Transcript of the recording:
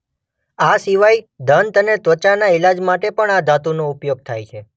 આ સિવાય દંત અને ત્વાચાના ઈલાજ માટે પણ આ ધાતુ નો ઉપયોગ થાય છે.